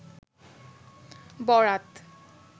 বরাত